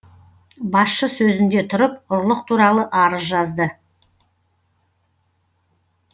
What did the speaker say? басшы сөзінде тұрып ұрлық туралы арыз жазды